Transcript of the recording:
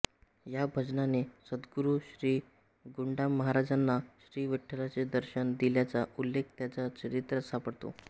या भजनाने सद्गुरू श्री गुंडामहाराजांना श्री विठ्ठलाचे दर्शन दिल्याचा उल्लेख त्यांच्या चरित्रात सापडतो